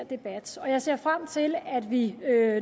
debat og jeg ser frem til at vi